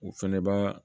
U fɛnɛ b'a